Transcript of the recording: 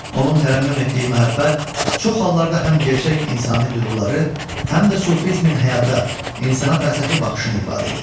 Onun tərənnüm etdiyi məhəbbət çox hallarda həm gerçək insani duyğuları, həm də sufizmin həyata, insana fəlsəfi baxışını ifadə edir.